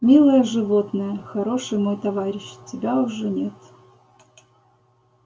милое животное хороший мой товарищ тебя уже нет